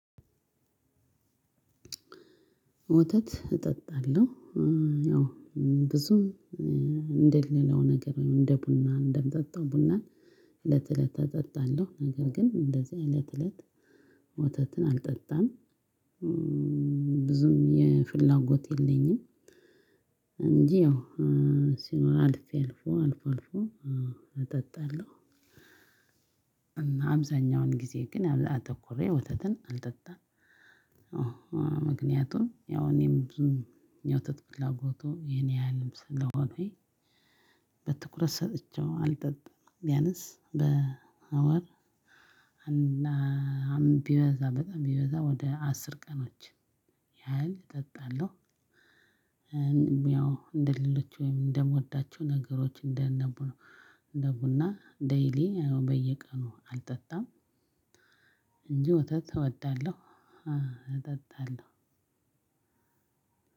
ወተት እጠጣለሁ ያው ብዙም እንደሌላው ነገር ወይም እንደ ቡና እንደምጠጣው ቡናን እለት እለት እጠጣለሁ ነገር ግን እንደዚህ እለት እለት ወተትን አልጠጣም። ብዙም ፍላጎት የለኝም። እንጂ ያው ሲኖር አልፌ አልፎ አልፎ እጠጣለሁ። አብዛኛውን ጊዜ ግን አተኩሬ ወተትን አልጠጣም። አወ ምክንያቱም እኔም ብዙም ያው የወተት ፍላጎቱ ያንያህል ስለሆንኩኝ። በትኩረት ሰጥቼ አልጠጣም ቢያንስ በወር ቢበዛ በጣም ቢበዛ ወደ አስር ቀኖች ያህል እጠጣለሁ። ያው እንደሌሎች ወይም እንደምወዳቸው ነገሮች እንደ ቡና ደይሊ በየቀኑ አልጠጣም። እንጂ ወተት እወዳለሁ አጠጣለሁ።